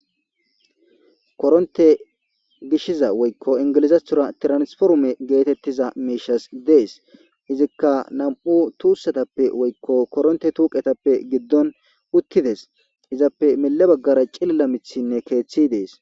korontte gishiza woykko ingilizathora tiransforme geetettiza miishas dees. izikka nam"u tuussetappe woykko korontte tuuqetappe giddon uttides. izappe mele baggara cilila miithinne keeththi dees.